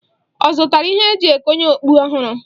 Ọ zụtara ihe e ji ekonye okpu ọhụrụ?